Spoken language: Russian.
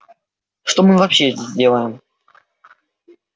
что мы вообще здесь делаем